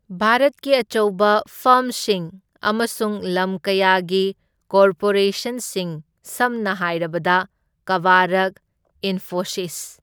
ꯚꯥꯔꯠꯀꯤ ꯑꯆꯧꯕ ꯐꯔꯝꯁꯤꯡ ꯑꯃꯁꯨꯡ ꯂꯝ ꯀꯌꯥꯒꯤ ꯀꯣꯔꯄꯣꯔꯦꯁꯟꯁꯤꯡ ꯁꯝꯅ ꯍꯥꯏꯔꯕꯗ ꯀꯕꯥꯔꯛ, ꯏꯟꯐꯣꯁꯤꯁ꯫